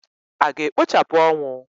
A ga-ekpochapụ ọnwụ?